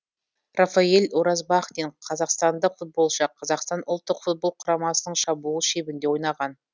рафаэль уразбахтин қазақстандық футболшы қазақстан ұлттық футбол құрамасының шабуыл шебінде ойнаған